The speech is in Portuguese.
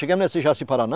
Chegamos Jaci Paraná,